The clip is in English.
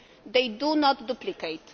They do not duplicate.